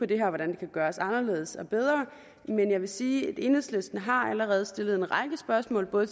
det her kan gøres anderledes og bedre men jeg vil sige at enhedslisten allerede har stillet en række spørgsmål både